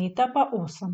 Meta pa osem.